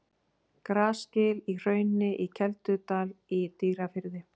Grasgil í Hrauni í Keldudal í Dýrafirði.